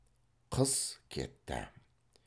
қыс кетті